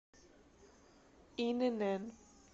инн